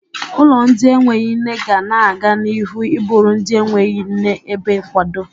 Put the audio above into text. Ụlọ ndị enweghi nne ga na-aga n'ihu ịbụrụ ndị enweghi nne ebe nkwado.